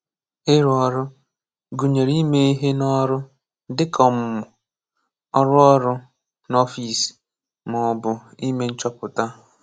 Ịrụ Ọrụ: Gụnyere ime ihe n’ọrụ, dịka ọmụmụ, ọrụ ọrụ n’ọfịs, ma ọ bụ ime nchọpụta.